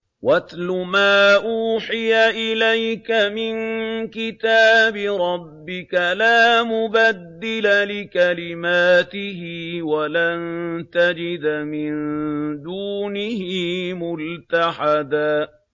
وَاتْلُ مَا أُوحِيَ إِلَيْكَ مِن كِتَابِ رَبِّكَ ۖ لَا مُبَدِّلَ لِكَلِمَاتِهِ وَلَن تَجِدَ مِن دُونِهِ مُلْتَحَدًا